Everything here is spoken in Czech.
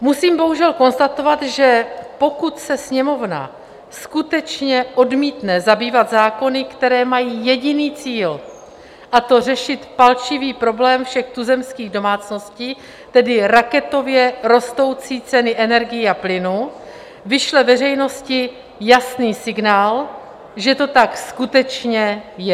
Musím bohužel konstatovat, že pokud se Sněmovna skutečně odmítne zabývat zákony, které mají jediný cíl, a to řešit palčivý problém všech tuzemských domácností, tedy raketově rostoucí ceny energií a plynu, vyšle veřejnosti jasný signál, že to tak skutečně je.